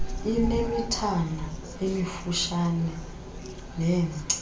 inemithana emifutshane nengca